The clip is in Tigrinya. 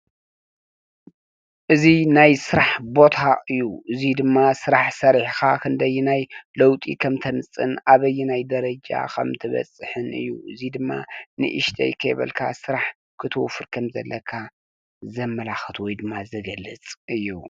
እዚ ናይ ስራሕ ቦታ እዩ። እዙይ ድማ ስራሕ ሰሪሕኻ ክንደየናይ ለዉጢ ከምተምፅእ ኣበየናይ ደረጃ ከምትበፅሕን እዩ ።እዚ ድማ ንእሽተይ ከይበልካ ስራሕ ክትወፍር ከም ዘለካ ዘመላክት ወይ ድማ ዝገልፅ እዩ።